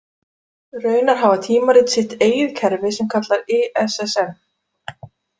Raunar hafa tímarit sitt eigið kerfi sem kallast ISSN.